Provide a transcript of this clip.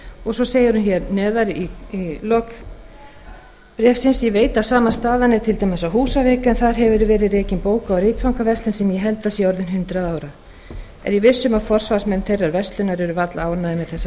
lok bréfsins segir með leyfi forseta ég veit að sama staðan er til dæmis á húsavík en þar hefur verið rekin bóka og ritfangaverslun sem ég held að sé orðin hundrað ára er ég viss um að forsvarsmenn þeirrar verslunar eru varla ánægðir með þessa